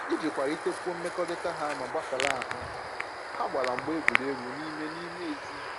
Iji kwalitekwuo mmekọrịta ha ma gbasara ahụ, ha gbara mgba egwuregwu n'ime n'ime ezi